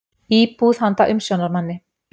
Íbúð handa umsjónarmanni.